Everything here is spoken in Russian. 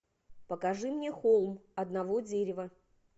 покажи мне холм одного дерева